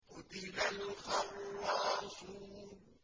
قُتِلَ الْخَرَّاصُونَ